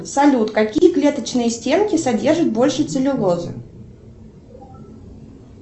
салют какие клеточные стенки содержат больше целлюлозы